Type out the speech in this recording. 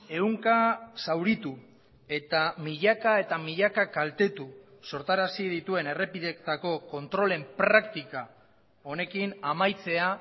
ehunka zauritu eta milaka eta milaka kaltetu sortarazi dituen errepideetako kontrolen praktika honekin amaitzea